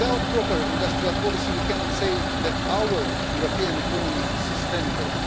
Without a proper industrial policy, we cannot say that our European economy is sustainable.